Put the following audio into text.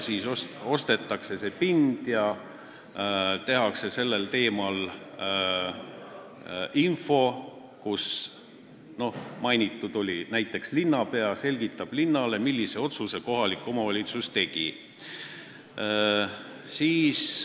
Siis ostetakse pind ja tehakse sellel teemal lugu, kus mainitakse näiteks, et linnapea selgitab linnarahvale, millise otsuse kohalik omavalitsus tegi.